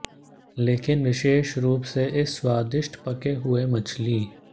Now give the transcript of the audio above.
लेकिन विशेष रूप से इस स्वादिष्ट पके हुए मछली